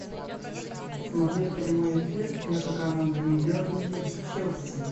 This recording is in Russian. смотреть прямой эфир между командами бернли челси